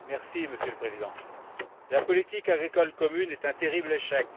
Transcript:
Monsieur le Président, la politique agricole commune est un terrible échec.